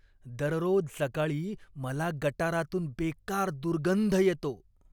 दररोज सकाळी मला गटारातून बेकार दुर्गंध येतो.